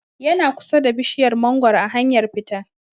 Yana kusa da bishiyar mangoro a hanyar fita